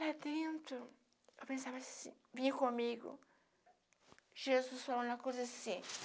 Lá dentro, eu pensava se vinha comigo Jesus falando uma coisa assim.